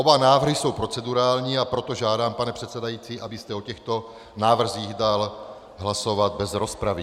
Oba návrhy jsou procedurální, a proto žádám, pane předsedající, abyste o těchto návrzích dal hlasovat bez rozpravy.